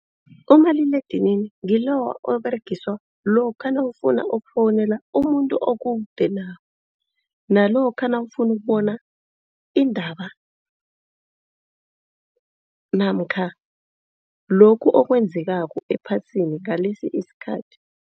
Umaliledinini ngiloya oberegiswa lokha nawufuna ukufowunela umuntu okude nawe. Nalokha nawufuna ukubona iindaba namkha lokhu okwenzekako ephasini ngalesi isikhathi.